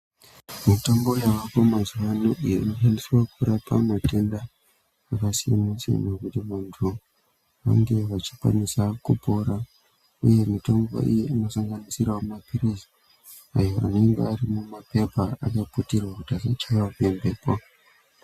Mitombo yavako mazuwano iyo inoshandiswa kurapa matenda akasiyana siyana kuti muntu ange achikwanisa kupora uye mitombo iyi inosanganisirawo maphirizi ayo anenge arimumapepa akaputirwa kuti asachaiwa ngemhepo.